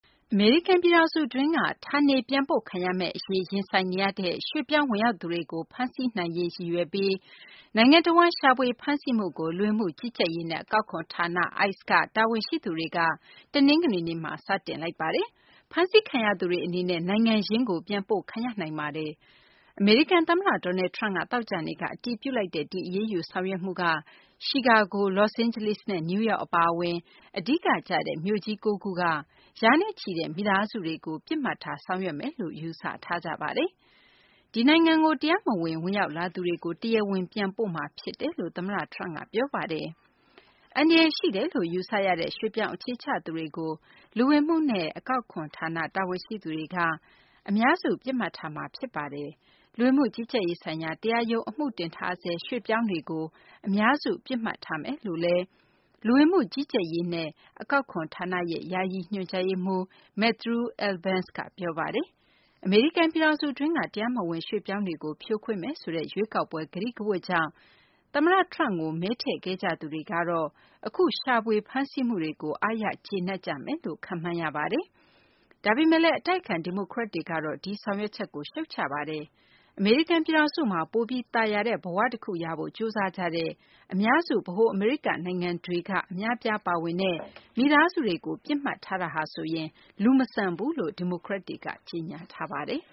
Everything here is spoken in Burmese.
အမေရိကန် ပြည်ထောင်စု အတွင်းက ဌာနေပြန်ပို့ခံရမယ့် အရေး ရင်ဆိုင်နေရတဲ့ ရွှေ့ပြောင်း ဝင်ရောက်သူတွေကို ဖမ်းဆီးနိုင်ရေး ရည်ရွယ်ပြီး နိုင်ငံတဝန်း ရှာဖွေ ဖမ်းဆီးမှုကို လူဝင်မှုကြီးကြပ်ရေးနဲ့ အကောက်ခွန် ဌာန ICE က တာဝန်ရှိသူတွေက တနင်္ဂနွေနေ့မှာ စတင်လိုက်ပါတယ်။ ဖမ်းဆီးခံရသူတွေ အနေနဲ့ နိုင်ငံရင်း ပြန်ပို့ခံရနိုင်ပါတယ်။ အမေရိကန် သမ္မတ Donald Trump က သောကြာနေ့က အတည်ပြုလိုက်တဲ့ ဒီအရေးယူ ဆောင်ရွက်မှုက Chicago ၊ Los Angeles နဲ့ New York အပါအဝင် အဓိက ကျတဲ့ မြို့ကြီး ၉ ခုက ရာနဲ့ချီတဲ့ မိသားစုတွေကို ပစ်မှတ်ထား ဆောင်ရွက်မယ်လို့ ယူဆထားကြပါတယ်။ ဒီနိုင်ငံကို တရားမဝင် ဝင်ရောက် လာသူတွေကို တရားဝင် ပြန်ပို့မှာ ဖြစ်တယ်လို့ သမ္မတ Trump က ပြောပါတယ်။ အန္တရာယ် ရှိတယ်လို့ ယူဆရတဲ့ ရွှေ့ပြောင်းအခြေချသူတွေကို လူဝင်မှုနဲ့ အကောက်ခွန် ဌာန တာဝန်ရှိသူတွေက အများစု ပစ်မှတ်ထားမှာ ဖြစ်ပါတယ်။ လူဝင်မှု ကြီးကြပ်ရေးဆိုင်ရာ တရားရုံး အမှုတင်ထားဆဲ ရွှေ့ပြောင်းတွေကို အများစု ပစ်မှတ်ထားမယ်လို့လည်း လူဝင်မှု ကြီးကြပ်ရေးနဲ့ အကောက်ခွန် ဌာနရဲ့ ယာယီ ညွှန်ကြားရေးမှူး Matthew Albence က ပြောပါတယ်။ အမေရိကန် ပြည်ထောင်စု အတွင်းက တရားမဝင် ရွှေ့ပြောင်းတွေကို ဖြိုခွင်းမယ်ဆိုတဲ့ ရွေးကောက်ပွဲ ကတိကဝတ်ကြောင့် သမ္မတ Trump ကို မဲထည့်ခဲ့ကြသူတွေကတော့ အခု ရှာဖွေ ဖမ်းဆီးမှုတွေကို အားရ ကျေနပ်ကြမယ်လို့ ခန့်မှန်းရပါတယ်။ ဒါပေမယ့်လည်း အတိုက်အခံ ဒီမိုကရက်တွေကတော့ ဒီဆောင်ရွက်ချက်ကို ရှုတ်ချထားပါတယ်။ အမေရိကန် ပြည်ထောင်စုမှာ ပိုပြီး သာယာတဲ့ ဘ၀ တခုရဖို့ ကြိုးစားနေကြတဲ့ အများစု ဗဟို အမေရိက နိုင်ငံတွေက အများအပြား ပါဝင်တဲ့ မိသားစုတွေကို ပစ်မှတ်ထားတာဟာဆိုရင် လူမဆန်ဘူးလို့လည်း ဒီမိုကရက်တွေက ကြေညာထားပါတယ်